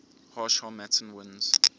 harsh harmattan winds